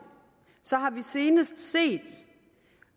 har vi senest set